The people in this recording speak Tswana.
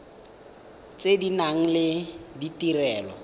tse di nang le ditirelo